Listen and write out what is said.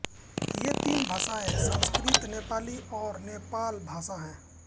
ये तीन भाषाएँ संस्कृत नेपाली और नेपाल भाषा है